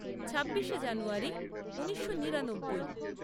ছাব্বিশে জানুয়ারী ঊনিশো নিরানব্বই